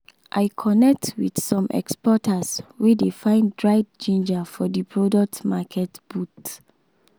i connect with some exporters wey dey find dried ginger for the product market booth.